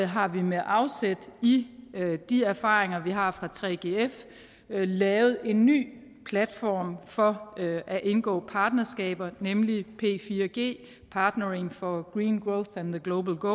har vi med afsæt i de erfaringer vi har fra 3gf lavet en ny platform for at indgå partnerskaber nemlig p4g partnering for green growth and the global